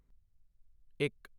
ਇੱਕ